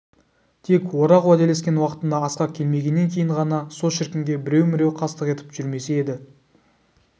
тек орақ уәделескен уақытында асқа келмегеннен кейін ғана со шіркінге біреу-міреу қастық етіп жүрмесе еді